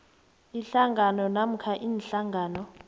ihlangano namkha iinhlangano